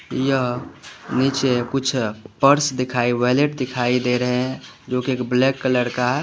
यहाँ नीचे कुछ पार्ट्स दिखाई वैलेट दिखाई दे रहे हैं जो की ब्लैक कलर का है।